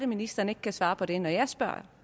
ministeren ikke kan svare på det når jeg spørger